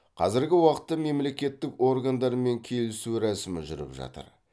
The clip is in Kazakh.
қазіргі уақытта мемлекеттік органдармен келісу рәсімі жүріп жатыр